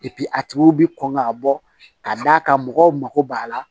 a tigiw bɛ kɔn ka bɔ ka d'a kan mɔgɔw mako b'a la